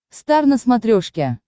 стар на смотрешке